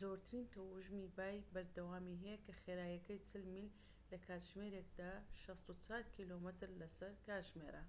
زۆرترین تەوژمی بای بەردەوامی هەیە کە خێراییەکەی 40 میل لە کاتژمێرێکدا 64 کیلۆمەتر لە سەر کاتژمێرە